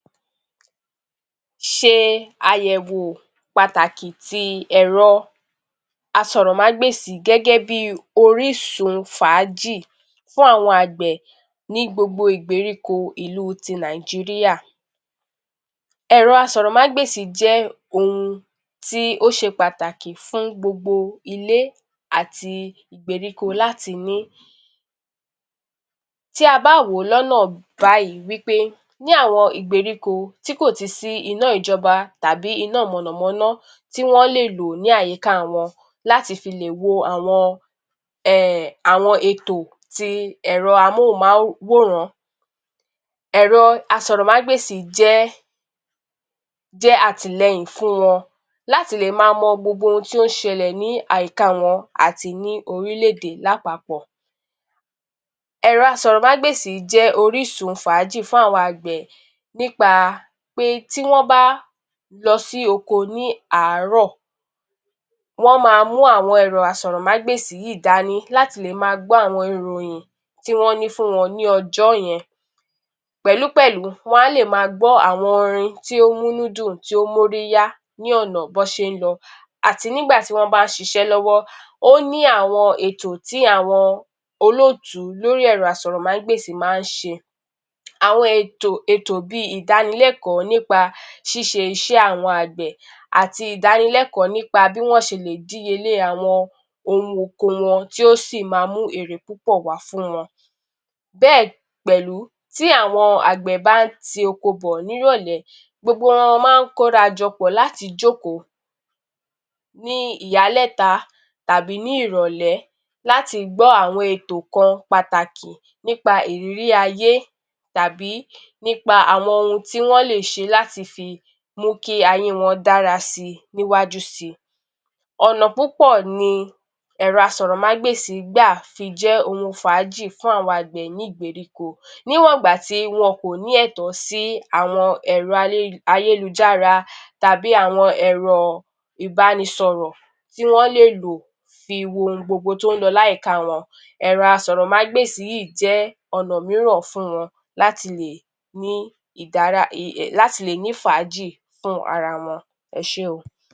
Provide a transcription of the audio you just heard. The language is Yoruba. Ṣe àyẹ̀wò pàtàkì ti ẹ̀rọ asọ̀rọ̀mágbèsì gẹ́gẹ́ bi orísun fàájì fún àwọn àgbẹ̀ ní gbogbo ìgbèríko ìlú ti Nàìjíríà. Ẹ̀rọ asọ̀rọ̀mágbèsì jẹ́ ohun tí ó ṣe pàtàkì fún gbogbo ilé àti ìgbèríko láti ní. Tí a bá wò ó lọ́nà báyìí wí pé ní àwọn ìgbèríko tí kò ti sí iná ìjọba tàbí iná mọ̀nàmọ́ná tí wọ́n lè lò ní àyíká wọn láti fi lè wo àwọn [ẹmn...] àwọn ètò ti ẹ̀rọ amóhùnmáwòrán, ẹ̀rọ asọ̀rọ̀mágbèsì jẹ́ [jẹ́] àtìlẹyìn fún wọn láti lè máa mọ gbogbo ohun tí ó ń ṣẹlẹ̀ ní àyíká wọn àti ní orílẹ̀-èdè lápapọ̀. Ẹ̀rọ asọ̀rọ̀mágbèsì jẹ́ orísun fàájì fún àwọn àgbẹ̀ nípa pé tí wọ́n bá lọ sí oko ní àárọ̀ wọ́n máa mú àwọn ẹ̀rọ asọ̀rọ̀mágbèsì yìí dání láti lè máa gbọ́ àwọn ìròyin tí wọ́n ní fún wọn ní ọjọ́ yẹn pẹ̀lú pẹ̀lú wọn á lè máa gbọ́ àwọn orin tí ó ń mú inú dùn, tí ó ń mú orí yá ní ọ̀nà bí wọ́n ṣe ń lọ àti ní ìgbà tí wọ́n bá ń ṣiṣẹ́ lọ́wọ́. Ó ní àwọn ètò tí àwọn olótùú lórí ẹ̀rọ asọ̀rọ̀mágbèsì máa ń ṣe. Àwọn ètò, ètò bi ìdánilẹ́kọ̀ọ́ nípa ṣíṣe iṣẹ́ àwọn àgbẹ̀ àti ìdánilẹ́kọ̀ọ́ nípa bí wọ́n ṣe lè díye lé àwọn ohun oko wọn tí ó sì ma mú èrè púpọ̀ wá fún wọn. Bẹ́ẹ̀ pẹ̀lú, tí àwọn àgbẹ̀ bá ń ti oko bọ̀ nírọ̀lẹ́, gbogbo wọn máa ń kóra jọ pọ̀ láti jókòó ní ìyálẹ̀ta tàbí ní ìrọ̀lẹ́ láti gbọ́ àwọn ètò kan pàtàkì nípa ìrírí ayé tàbí nípa àwọn ohun tí wọ́n lè ṣe láti fi mú kí ayé wọn dára si níwájú si. Ọ̀nà púpọ̀ ni ẹ̀rọ asọ̀rọ̀mágbèsì gbà fi jẹ́ ohun fàájì fún àwọn àgbẹ̀ ní ìgbèríko níwọ̀n ìgbà tí wọn kò ní ẹ̀tọ́ sí àwọn ẹ̀rọ [ay..] ayélujára tàbí àwọn ẹ̀rọ ìbánisọ̀rọ̀ tí wọ́n lè lò fi wo ohun gbogbo tí ó ń lọ ní àyíká wọ́n. Ẹ̀rọ asọ̀rọ̀mágbèsì yìí jẹ́ ọ̀nà mìíràn fún wọn láti lè ní [ìdára…ì... è] láti lè ní fàájì fún ara wọn. Ẹ ṣé o.